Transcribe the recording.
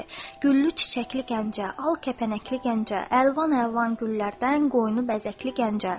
Güllü-çiçəkli Gəncə, al kəpənəkli Gəncə, əlvan-əlvan güllərdən qoynu bəzəkli Gəncə.